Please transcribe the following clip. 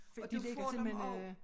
Og de ligger simpelthen øh